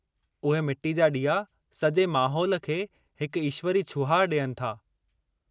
उहे मिट्टी जा ॾीआ सॼे माहौल खे हिकु ईश्वरी छुहाउ ॾियनि था।